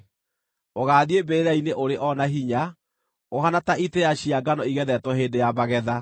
Ũgaathiĩ mbĩrĩra-inĩ ũrĩ o na hinya, ũhaana ta itĩĩa cia ngano ĩgethetwo hĩndĩ ya magetha.